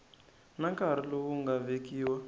na nkarhi lowu nga vekiwa